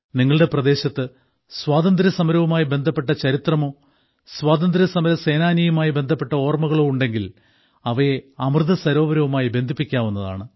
നിങ്ങളുടെ പ്രദേശത്ത് സ്വാതന്ത്ര്യസമരവുമായി ബന്ധപ്പെട്ട ചരിത്രമോ സ്വാതന്ത്ര്യസമരസേനാനിയുമായി ബന്ധപ്പെട്ട ഓർമ്മകളോ ഉണ്ടെങ്കിൽ അവയെ അമൃതസരോവരവുമായി ബന്ധിപ്പിക്കാവുന്നതാണ്